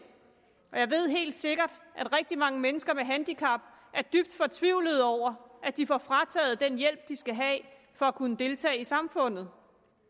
og jeg ved helt sikkert at rigtig mange mennesker med handicap er dybt fortvivlede over at de får frataget den hjælp de skal have for at kunne deltage i samfundet